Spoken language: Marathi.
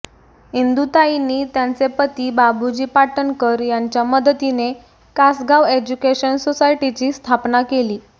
इंदूताईंनी त्यांचे पती बाबूजी पाटणकर यांच्या मदतीने कासगाव एज्युकेशन सोसायटीची स्थापना केली